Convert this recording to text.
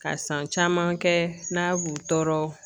Ka san caman kɛ n'a b'u tɔɔrɔ